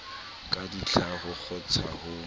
ka ditlha ho kgontsha ho